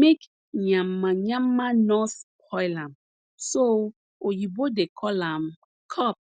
make yamayama nor spoil am so oyibo dey call am cup